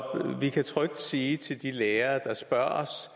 vi kan trygt sige til de lærere der spørger os